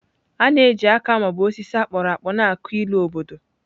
A na-eji aka ma ọ bụ osisi a kpụrụ akpụ na-akụ ilu obodo.